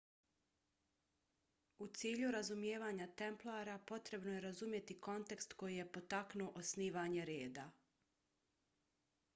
u cilju razumijevanja templara potrebno je razumjeti kontekst koji je potaknuo osnivanje reda